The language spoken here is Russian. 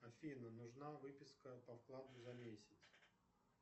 афина нужна выписка по вкладу за месяц